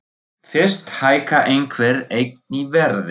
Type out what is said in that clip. Fyrst hækkar einhver eign í verði.